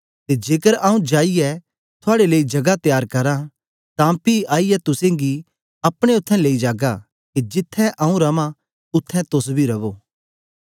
ते जेकर आऊँ जाईयै थुआड़े लेई जगा त्यार करा तां पी आईयै तुसेंगी अपने उत्थें लेई जागा के जिथें आऊँ रवां उत्थें तोस बी रवो